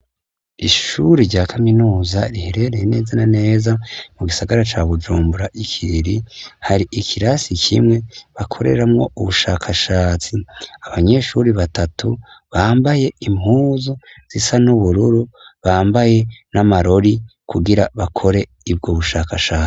Ishuri rya kaminuza riherereye neza na neza mu gisagara ca Bujumbura, Ikiriri, hari ikirasi kimwe bakoreramwo ubushakashatsi. Abanyeshure batatu bambaye impuzu zisa n'ubururu, bambaye n'amarori kugira bakore ubwo bushakashatsi.